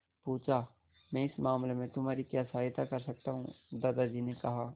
पूछा मैं इस मामले में तुम्हारी क्या सहायता कर सकता हूँ दादाजी ने कहा